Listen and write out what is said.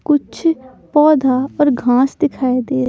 कुछ पौधा और घास दिखाई दे--